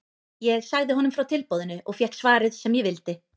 Ég sagði honum frá tilboðinu og fékk svarið sem ég vildi.